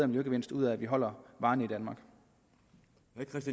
miljøgevinst ud af at vi holder varerne